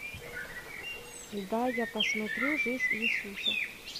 да я посмотрю жизнь иисуса